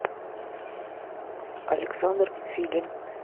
александр филин